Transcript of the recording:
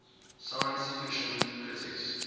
science fiction critics